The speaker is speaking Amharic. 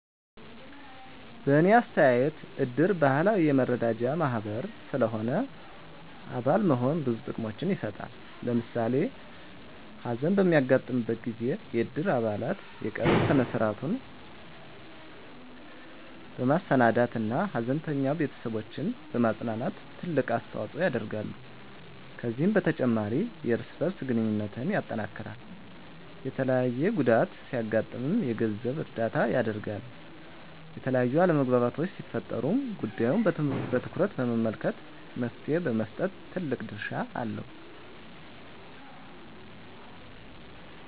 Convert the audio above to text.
በእኔ አስተያየት እድር ባህላዊ የመረዳጃ ማህበር ስለሆነ አባል መሆን ብዙ ጥቅሞችን ይሰጣል። ለምሳሌ ሀዘን በሚያጋጥምበት ጊዜ የእድር አባላት የቀብር ስነ-ስርዐቱን በማሰናዳት እና ሀዘንተኛ ቤተስቦችን በማፅናናት ትልቅ አስተዋጽኦ ያደርጋሉ። ከዚህም በተጨማሪ የእርስ በእርስ ግንኙነትን ያጠናክራል፣ የተለያየ ጉዳት ሲያጋጥም የገንዘብ እርዳታ ያደርጋል፣ የተለያዩ አለመግባባቶች ሲፈጠሩም ጉዳዩን በትኩረት በመመልከት መፍትሔ በመስጠት ትልቅ ድርሻ አለው።